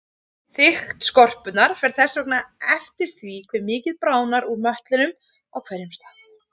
Þykkt skorpunnar fer þess vegna eftir því hve mikið bráðnar úr möttlinum á hverjum stað.